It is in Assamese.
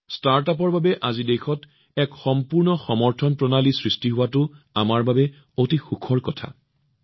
ষ্টাৰ্টআপৰ বাবে আজি দেশত এক সম্পূৰ্ণ সমৰ্থন প্ৰণালী সৃষ্টি কৰাটো আমাৰ বাবে অতি সুখৰ বিষয়